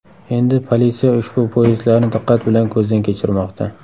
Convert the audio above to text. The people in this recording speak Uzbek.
Endi politsiya ushbu poyezdlarni diqqat bilan ko‘zdan kechirmoqda.